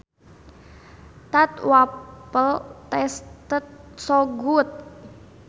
That waffle tasted so good